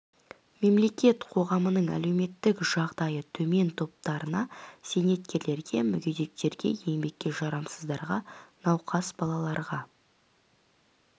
мемлекет қоғамның әлеуметтік жағдайы төмен топтарына зейнеткерлерге мүгедектерге еңбекке жарамсыздарға науқас балаларға